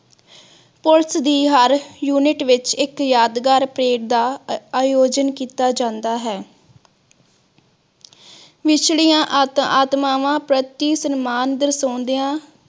police ਦੀ ਹਰ unit ਵਿਚ ਇਕ ਯਾਦਗਾਰ ਪਰੇਡ ਦਾ ਅਯੋਯਨ ਕੀਤਾ ਜਾਂਦਾ ਹੈ ਵਿਛੜੀਆਂ ਆਤਮਾਵਾਂ ਪ੍ਰਤੀ ਸਨਮਾਨ ਦਰਸੌਂਦਯਾ